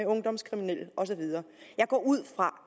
ungdomskriminelle og så videre jeg går ud fra